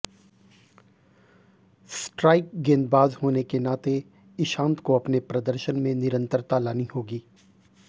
strike गेंदबाज होने के नाते इशांत को अपने प्रदर्शन में निरंतरता लानी होगी